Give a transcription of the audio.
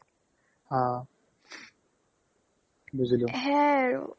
অ অ বুজিলো সেয়াই আৰু